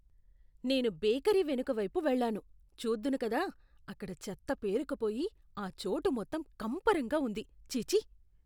నేను బేకరీ వెనుకవైపు వెళ్లాను. చూద్దును కదా, అక్కడ చెత్త పేరుకుపోయి ఆ చోటు మొత్తం కంపరంగా ఉంది. ఛీఛీ!